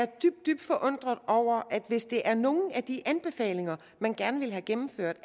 dybt forundret over at det hvis det er nogle af de anbefalinger man gerne vil have gennemført